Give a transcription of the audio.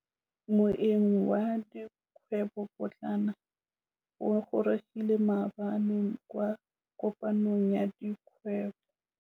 Moêng wa dikgwêbô pôtlana o gorogile maabane kwa kopanong ya dikgwêbô.